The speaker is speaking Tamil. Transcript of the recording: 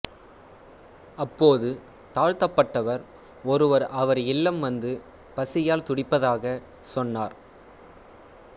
அப்போது தாழ்த்தப்பட்டவர் ஒருவர் அவர் இல்லம் வந்து பசியால் துடிப்பதாக சொன்னார்